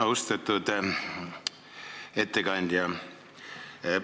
Austatud ettekandja!